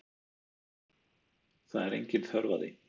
Það er engin þörf á því.